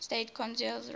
state condoleezza rice